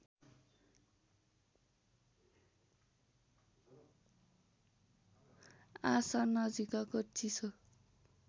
आसनजिकको चिसो